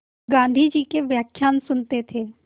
गाँधी जी के व्याख्यान सुनते